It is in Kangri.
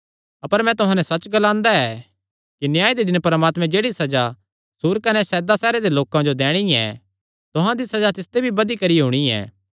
अपर मैं तुहां नैं सच्च ग्लांदा ऐ कि न्याय दे दिन परमात्मैं जेह्ड़ी सज़ा सूर कने सैदा सैहरां दे लोकां जो दैणी ऐ तुहां दी सज़ा तिसते भी बधी करी होणी ऐ